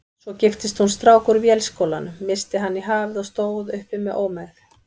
Svo giftist hún strák úr Vélskólanum, missti hann í hafið og stóð uppi með ómegð.